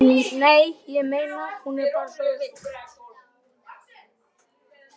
Nei, ég meina. hún er bara svo villt.